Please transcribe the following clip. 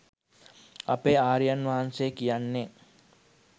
අපේ ආර්යයන් වහන්සේ කියන්නේ